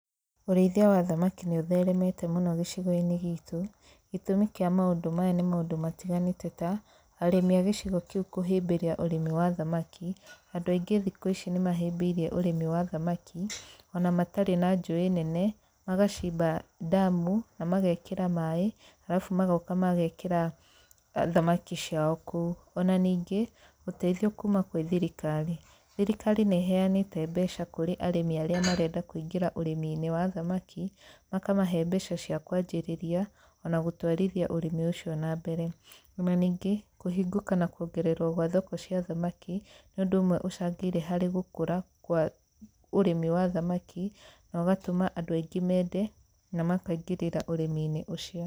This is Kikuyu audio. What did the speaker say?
Ũrĩithia wa thamaki nĩ ũtheremete mũno gĩcigo-inĩ gitũ. Gĩtũmi kĩa maũndũ maya nĩ maũndũ matiganĩte ta, arĩmi a gĩcigo kĩu kũhĩmbĩria ũrĩmi wa thamaki. Andũ aingĩ thikũ ici nĩ mahĩmbĩirie ũrĩmi wa thamaki, ona matarĩ na njũĩ nene, magacimba ndamu, na magekĩra maĩ arabu magoka magekĩra thamaki ciao kũu. Ona ningĩ, ũteithio kuuma kwĩ thirikari. Thirikari nĩ ĩheanĩte mbeca kũrĩ arĩmi arĩa marenda kũingĩra ũrĩmi-inĩ wa thamaki, makamahe mbeca cia kũanjĩrĩria, ona gũtwarithia ũrĩmi ũcio na mbere. Ona ningĩ, ngũhingũka na kuongererwo gwa thoko cia thamaki, nĩ ũndũ ũmwe ũcangĩire harĩ gũkũra kwa ũrĩmi wa thamaki na ũgatũma andũ aingĩ mende na makaingĩrĩra ũrĩmi-inĩ ũcio.